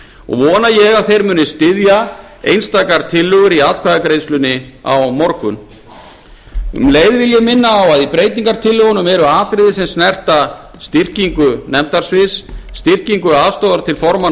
og vona ég að þeir muni styðja einstakar tillögur í atkvæðagreiðslunni á morgun um leið vil ég minna á að í breytingartillögunum eru atriði sem snerta styrkingu nefndasviðs styrkingu aðstoðar til formanna